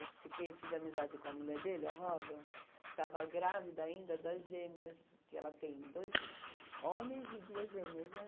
Eu fiquei, fiz amizade com a mulher dele, a Rosa, que estava grávida ainda das gêmeas, que ela tem dois homens e duas gêmeas, né?